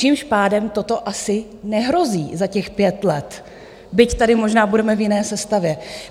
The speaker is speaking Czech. Tím pádem toto asi nehrozí za těch pět let, byť tady možná budeme v jiné sestavě.